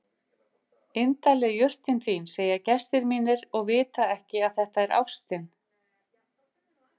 Indæl er jurtin þín segja gestir mínir og vita ekki að þetta er ástin.